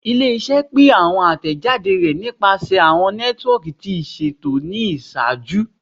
Ile-iṣẹ pin awọn atẹjade rẹ nipasẹ awọn nẹtiwọọki ti iṣeto ni iṣaaju